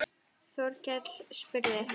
Þorkell spurði